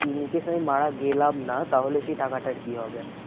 In case আমি মারা গেলাম না তাহলে সেই টাকাটার কি হবে?